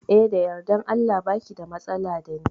Eh da yardan Allah baki da matsala dani